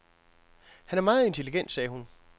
Han er meget intelligent, sagde hun.